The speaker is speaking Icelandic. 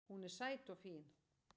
Hún er sæt og fín